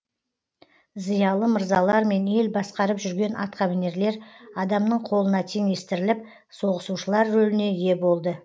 зиялы мырзалар мен ел басқарып жүрген атқамінерлер адамның колына теңестіріліп соғысушылар рөліне ие болды